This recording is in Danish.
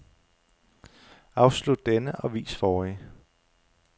Afslut denne og vis forrige.